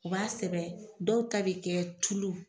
O ka sɛbɛn dɔw ta bɛ kɛ tulu